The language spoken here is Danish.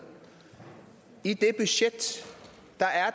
i det budget